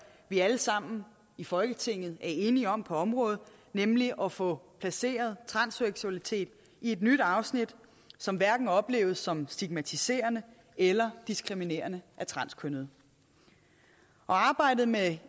vi alle sammen i folketinget er enige om på området nemlig at få placeret transseksualitet i et nyt afsnit som hverken opleves som stigmatiserende eller diskriminerende af transkønnede arbejdet med